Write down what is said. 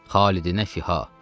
Xalidinə fiha.